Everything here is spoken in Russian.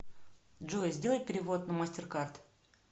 джой сделай перевод на мастеркард